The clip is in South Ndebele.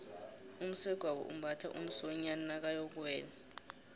umsegwabo umbatha umsonyani nakayokuwela